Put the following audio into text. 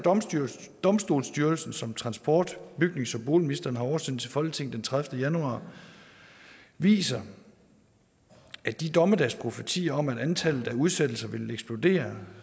domstolsstyrelsen som transport bygnings og boligministeren har oversendt til folketinget den tredivete januar viser at de dommedagsprofetier om at antallet af udsættelser ville eksplodere